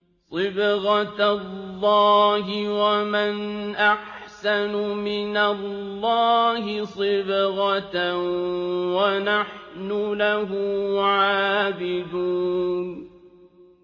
صِبْغَةَ اللَّهِ ۖ وَمَنْ أَحْسَنُ مِنَ اللَّهِ صِبْغَةً ۖ وَنَحْنُ لَهُ عَابِدُونَ